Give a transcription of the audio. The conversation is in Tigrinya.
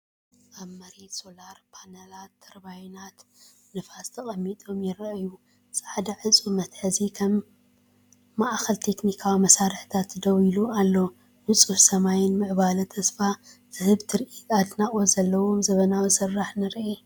ኣብ መሬት ሶላር ፓነላትን ተርባይናት ንፋስን ተቐሚጦም ይረኣዩ። ጻዕዳ ዕጹው መትሓዚ ከም ማእከል ቴክኒካዊ መሳርሒታት ደው ኢሉ ኣሎ። ንጹህ ሰማይን ምዕባለ ተስፋ ዝህብ ትርኢት ኣድናቖት ዘለዎን ዘመናዊ ስራሕ ንርኢ ።